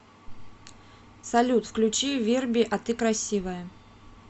салют включи верби а ты красивая